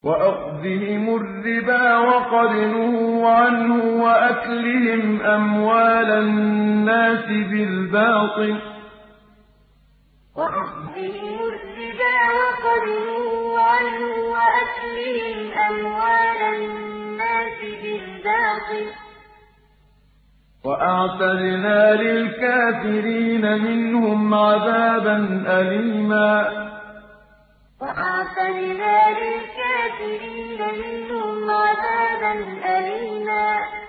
وَأَخْذِهِمُ الرِّبَا وَقَدْ نُهُوا عَنْهُ وَأَكْلِهِمْ أَمْوَالَ النَّاسِ بِالْبَاطِلِ ۚ وَأَعْتَدْنَا لِلْكَافِرِينَ مِنْهُمْ عَذَابًا أَلِيمًا وَأَخْذِهِمُ الرِّبَا وَقَدْ نُهُوا عَنْهُ وَأَكْلِهِمْ أَمْوَالَ النَّاسِ بِالْبَاطِلِ ۚ وَأَعْتَدْنَا لِلْكَافِرِينَ مِنْهُمْ عَذَابًا أَلِيمًا